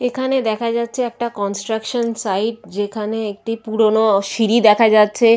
এখানে দেখা যাচ্ছে একটা কনস্ট্রাকশন সাইড যেখানে একটি পুরোনো সিঁড়ি দেখা যাচ্ছে।